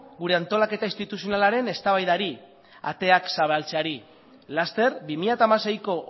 gure antolaketa instituzionalaren eztabaidari ateak zabaltzeari laster bi mila hamaseiko